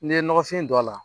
N'i ye ɲɔgɔnfin don a la